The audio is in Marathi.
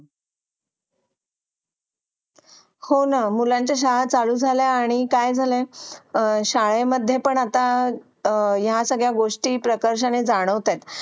हो ना मुलांच्या शाळा चालू झाल्या आणि शाले मध्ये पण ह्या सगळ्या गोष्टी प्रकर्षाने जाणवत आहेत